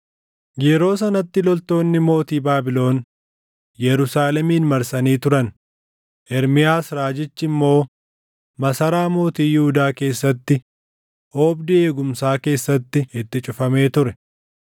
Yeroo sanatti loltoonni mootii Baabilon Yerusaalemin marsanii turan; Ermiyaas raajichi immoo masaraa mootii Yihuudaa keessatti oobdii eegumsaa keessatti itti cufamee ture.